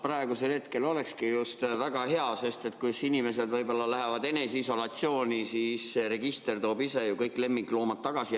Praegusel hetkel olekski just väga hea, et kui inimesed lähevad eneseisolatsiooni, siis register toob ise kõik lemmikloomad tagasi.